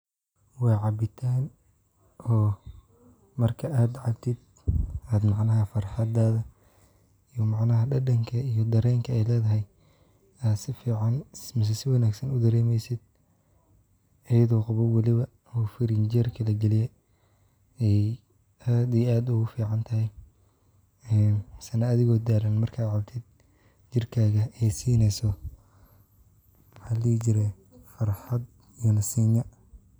Waa cabitaan oo marka ad cabtid ad macanaha farxadada iyo macnaha dhadhanka iyo dareenka ay leedahay ad si ficaan mise si wanaagsan u dereemaysid ayido qabow waliba oo firinjeerka lagiliyey ay aad iyo aad ugu ficantayah misna adigoo daalan marka ad cabtid jirkaaga ay siinayso farxad iyo nasiino.